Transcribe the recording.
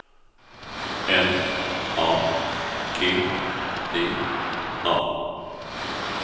M A G D A